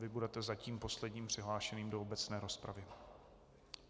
Vy budete zatím posledním přihlášeným do obecné rozpravy.